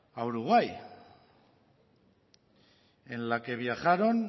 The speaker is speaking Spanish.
a uruguay en la que viajaron